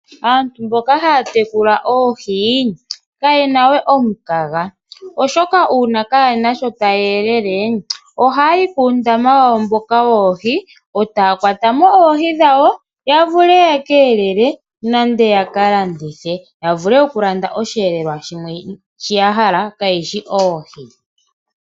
Aantu mboka haya tekula oohi kayena we omukaga oshoka uuna kayena shoka taya yelele ohayi puundama wawo mboka woohi etaya kwatamo oohi dhawo yavule yekelele nenge yaka landithe yavule okukalanda oshiyelelwa shimwe shiya hala kayishi oohi.